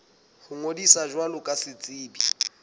ho ngodisa jwalo ka setsebi